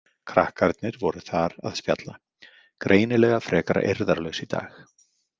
Krakkarnir voru þar að spjalla, greinilega frekar eirðarlaus í dag.